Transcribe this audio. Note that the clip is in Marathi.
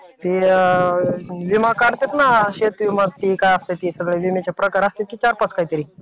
ते विमा काढतात ना शेती विमा आणखीन काय ते असतं ते सगळं. विम्याचे प्रकार असतेत कि चार-पाच काहीतरी.